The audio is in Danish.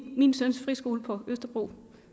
min søns friskole på østerbro